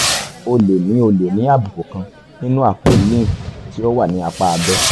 o lè ní o lè ní àbùkù kan nínú àpò lymph tí ó wà ní apá abẹ́